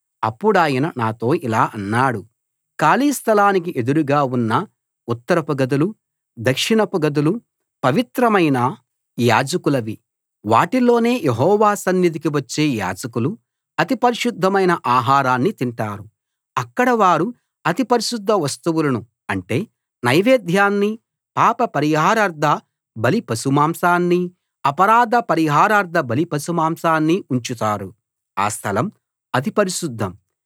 అప్పుడాయన నాతో ఇలా అన్నాడు ఖాళీ స్థలానికి ఎదురుగా ఉన్న ఉత్తరపు గదులు దక్షిణపు గదులు పవిత్రమైన యాజకులవి వాటిలోనే యెహోవా సన్నిధికి వచ్చే యాజకులు అతి పరిశుద్ధమైన ఆహారాన్ని తింటారు అక్కడ వారు అతి పరిశుద్ధ వస్తువులను అంటే నైవేద్యాన్ని పాప పరిహారార్థ బలి పశుమాంసాన్ని అపరాధ పరిహారార్థ బలి పశుమాంసాన్ని ఉంచుతారు ఆ స్థలం అతి పరిశుద్ధం